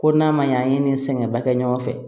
Ko n'a ma ɲɛ an ye nin sɛgɛnba kɛ ɲɔgɔn fɛ